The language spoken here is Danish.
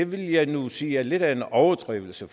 vil jeg nu sige er lidt af en overdrivelse